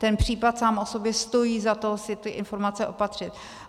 Ten případ sám o sobě stojí za to si ty informace opatřit.